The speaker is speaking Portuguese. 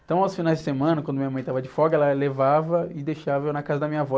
Então, aos finais de semana, quando minha mãe estava de folga, ela levava e deixava eu na casa da minha avó.